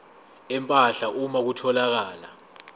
empahla uma kutholakala